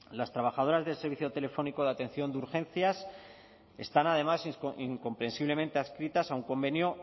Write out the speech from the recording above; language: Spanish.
las trabajadoras del servicio telefónico de atención de urgencias están además incomprensiblemente adscritas a un convenio